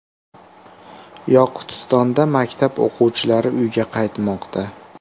Yoqutistonda maktab o‘quvchilari uyga qaytmoqda .